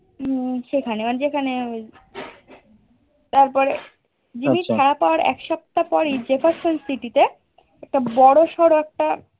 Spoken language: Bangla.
উম সেখানে মানে যেখানে ওই তারপরে জিম্মির ছাড়া পাওয়ার এক সপ্তাহ পরই Jefferson city তে একটা বড়সড়ো একটা